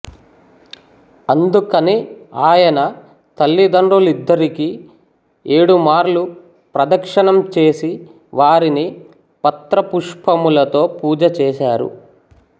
అందుకని ఆయన తల్లిదండ్రులిద్దరికీ ఏడుమార్లు ప్రదక్షిణం చేసి వారిని పత్ర పుష్పములతో పూజ చేశారు